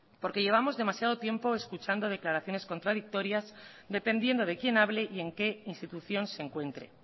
porque llevamos demasiado tiempo escuchando declaraciones contradictorias dependiendo de quién hable y en qué institución se encuentre